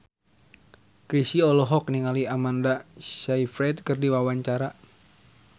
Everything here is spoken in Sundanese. Chrisye olohok ningali Amanda Sayfried keur diwawancara